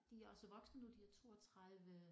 De er også voksne de er 32